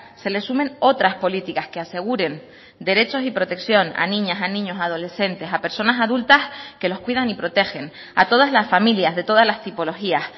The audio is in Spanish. se les sumen otras políticas que aseguren derechos y protección a niñas a niños adolescentes a personas adultas que los cuidan y protegen a todas las familias de todas las tipologías